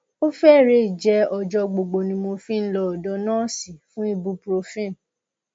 ó fẹrẹẹ jẹ ọjọ gbogbo ni mo fi ń lọ ọdọ nọọsì fún ibuprofen